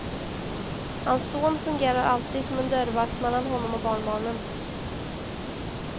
Hans son fungerar alltid som en dörrvakt mellan honom och barnbarnen.